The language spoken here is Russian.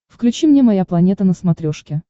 включи мне моя планета на смотрешке